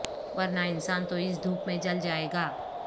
ورنہ انسان تو اس دھوپ میں جل جائے گا